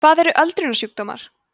hvað eru öldrunarsjúkdómar